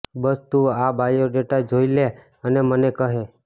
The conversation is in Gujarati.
બસ તું આ બાયોડેટા જોઈ લે અને મને કહે